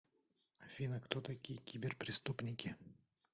афина кто такие киберпреступники